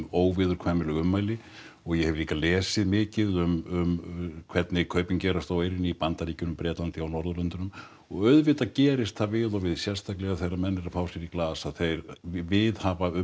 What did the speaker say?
óviðurkvæmileg ummæli og ég hef líka lesið mikið um hvernig kaupin gerast á eyrinni í Bandaríkjunum á Bretlandi og Norðurlöndunum og auðvitað gerist það við og við sérstaklega þegar menn eru að fá sér í glas að þeir viðhafa